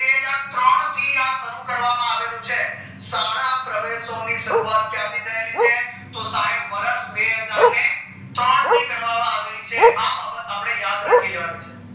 ત્રણ થી આ શરૂ કરવામાં આવેલુ છે શાળા પ્રવેહ્સ સત્વ ની શરૂવાત ક્યાંથી થયેલી છે તો સાહેબ વર્ષ બેહજાર ને ત્રણ થી કરવામાં આવેલી છે આ બાબત અપડે યાદ રાખી લેવાની છે